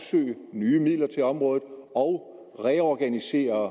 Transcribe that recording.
nye midler til området og reorganisere